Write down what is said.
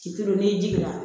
Ci kelen n'i jiginna